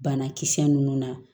Banakisɛ ninnu na